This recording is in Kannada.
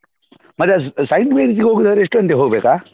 ಹ ಮತ್ತೆ Saint Mary’s ಗೆ ಹೋಗುದಾದ್ರೆ ಎಷ್ಟು ಗಂಟೆಗೆ ಹೋಗ್ಬೇಕಾ?